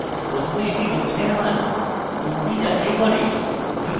প্রথমে এটি domain এর মান up যাচাই করে